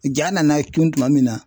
Ja nana cun tuma min na